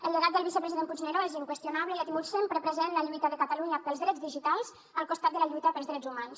el llegat del vicepresident puigneró és inqüestionable i ha tingut sempre present la lluita de catalunya pels drets digitals al costat de la lluita pels drets humans